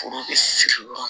Foro bɛ siri yɔrɔ min